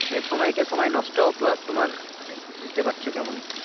এহ সময়কে সময় নষ্ট plus তোমার মানে বুঝতে পারছো কেমন।